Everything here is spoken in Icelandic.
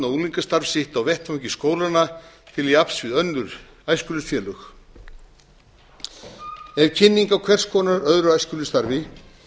unglingastarf sitt á vettvangi skólanna til jafns við önnur æskulýðsfélög ef kynning á hvers konar öðru æskulýðsstarfi